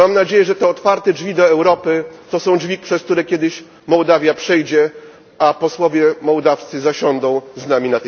Mam nadzieję, że te otwarte drzwi do Europy to są drzwi, przez które kiedyś Mołdawia przejdzie, a posłowie mołdawscy zasiądą z nami